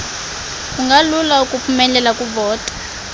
kungalula ukuphumelela kuvoto